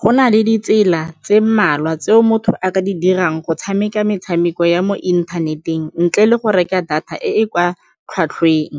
Go na le ditsela tse mmalwa tseo motho a ka di dirang go tshameka metshameko ya mo inthaneteng ntle le go reka data e e kwa tlhwatlhweng.